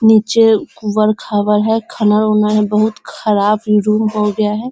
निचे उबड़ खाबड़ है | खनाल उनल है बहुत खराब इ रूम हो गया है |